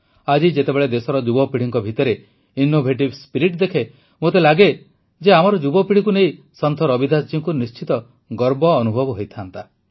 ଆଜି ଯେତେବେଳେ ଦେଶର ଯୁବପିଢ଼ିଙ୍କ ଭିତରେ ଇନୋଭେଟିଭ୍ ସ୍ପିରିଟ୍ ଦେଖେ ମୋତେ ଲାଗେ ଯେ ଆମର ଯୁବପିଢ଼ିକୁ ନେଇ ସନ୍ଥ ରବିଦାସ ଜୀଙ୍କୁ ନିଶ୍ଚିତ ଗର୍ବ ଅନୁଭବ ହୋଇଥାନ୍ତା